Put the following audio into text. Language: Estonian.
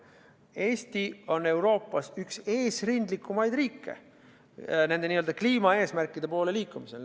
Eesti on Euroopas üks eesrindlikumaid riike kliimaeesmärkide poole liikumisel.